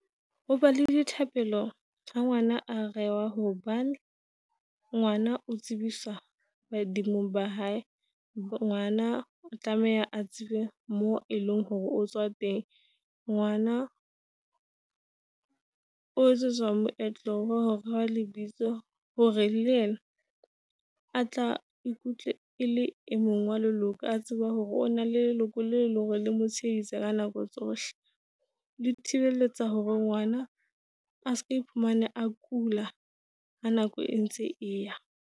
Hoba le dithapelo ha ngwana a rewa hobane ngwana o tsebiswa badimong ba hae. Ngwana o tlameha a tsebe mo eleng hore o tswa teng. Ngwana o etsetswa moetlo wa ho rewa lebitso. Hore le yena a tla e le e mong wa leloko a tseba hore o na le leloko le leng hore le mo tsheiditse ka nako tsohle. Di tshireletsa hore ngwana a se iphumane a kula ha nako e ntse eya.